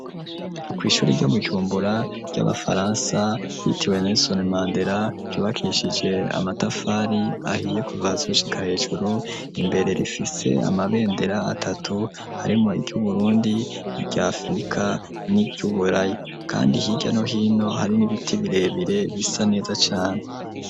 Kw'ishuri ry'Ibujumbura ry'Abafaransa yitiwe Nerisoni Mandera, ryubakishije amatafari ahiye kuva hasi gushika hejuru ,imbere rifise amabendera atatu harimwo, iry'Uburundi, irya Afirika, n'iry'Uburayi ,kandi hirya no hino hari n'ibiti birebire bisa neza cane.